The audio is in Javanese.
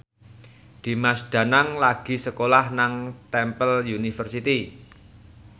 Dimas Danang lagi sekolah nang Temple University